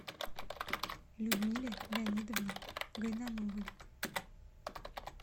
людмиле леонидовне гайнановой